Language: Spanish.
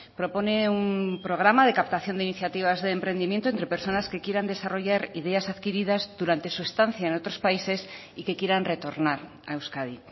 propone un programa de captación de iniciativas de emprendimiento entre personas que quieran desarrollar ideas adquiridas durante su estancia en otros países y que quieran retornar a euskadi